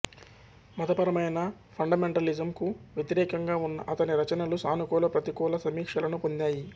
మతపరమైన ఫండమెంటలిజం కు వ్యతిరేకంగా ఉన్న అతని రచనలు సానుకూల ప్రతికూల సమీక్షలను పొందాయి